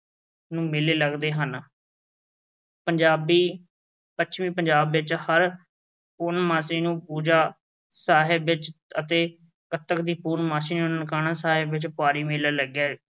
ਨੂੰ ਮੇਲੇ ਲੱਗਦੇ ਹਨ। ਪੰਜਾਬੀ, ਪੱਛਮੀ ਪੰਜਾਬ ਵਿੱਚ ਹਰ ਪੂਰਨਮਾਸ਼ੀ ਨੂੰ ਪੂਜਾ ਸਾਹਿਬ ਵਿੱਚ ਅਤੇ ਕੱਤਕ ਦੀ ਪੂਰਨਮਾਸ਼ਸੀ ਨੂੰ ਨਨਕਾਣਾ ਸਾਹਿਬ ਵਿੱਚ ਭਾਰੀ ਮੇਲਾ ਲੱਗਿਆ